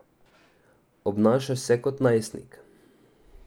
Obnaša se kot najstnik.